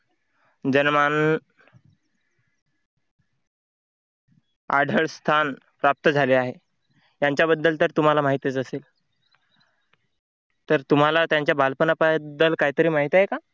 जनमान आदरस्थान प्राप्त झाले आहे. त्यांच्याबद्दल तर तुम्हाला माहितीच असेल. तर तुम्हाला त्यांच्या बालपणाबद्दल काहीतरी माहित आहे का?